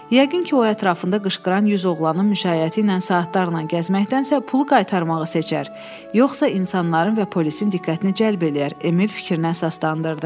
Yəqin ki, o ətrafında qışqıran 100 oğlanın müşayiəti ilə saatlarla gəzməkdənsə pulu qaytarmağı seçər, yoxsa insanların və polisin diqqətini cəlb eləyər, Emil fikrini əsaslandırdı.